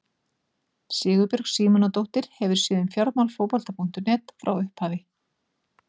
Sigurbjörg Símonardóttir hefur séð um fjármál Fótbolta.net frá upphafi.